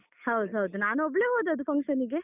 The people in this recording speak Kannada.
ಹೌದು ಹೌದು, ನಾನು ಒಬ್ಳೆ ಹೋದದ್ದು function ಗೆ.